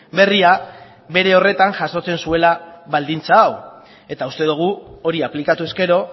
berria bere horretan jasotzen zuela baldintza hau eta uste dugu hori aplikatuz gero